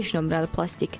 Beş nömrəli plastik.